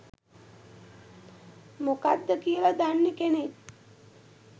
මොකක්ද කියල දන්න කෙනෙක්